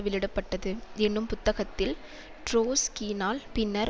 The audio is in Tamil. வெளியிட பட்டது என்னும் புத்தகத்தில் ட்ரொட்ஸ்கியினால் பின்னர்